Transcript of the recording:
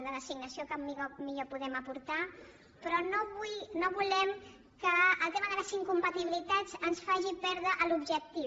de l’assignació que millor podem aportar però no volem que el tema de les incompatibilitats ens faci perdre l’objectiu